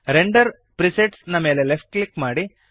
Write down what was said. render presets ನ ಮೇಲೆ left click ಮಾಡಿರಿ